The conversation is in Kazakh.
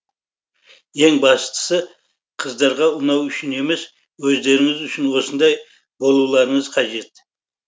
ең бастысы қыздарға ұнау үшін емес өздеріңіз үшін осындай болуларыңыз қажет